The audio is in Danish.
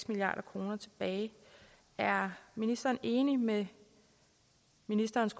milliard kroner tilbage er ministeren enig med ministerens